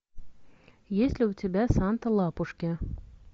есть ли у тебя санта лапушки